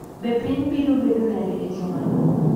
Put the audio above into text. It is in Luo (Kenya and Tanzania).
Be piny biro bedo nade e jumano?